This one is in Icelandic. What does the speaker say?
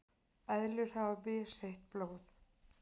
eðlur hafa misheitt blóð